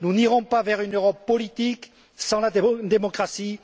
nous n'irons pas vers une Europe politique sans la démocratie.